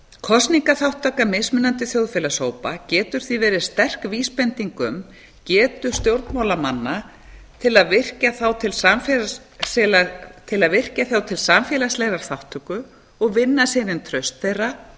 kosningaþátttaka mismunandi þjóðfélagshópa getur því verið sterk vísbending um getu stjórnmálamanna til að virkja þá til samfélagslegrar þátttöku og vinna síðan traust þeirra